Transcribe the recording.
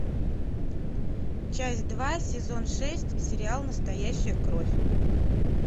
часть два сезон шесть сериал настоящая кровь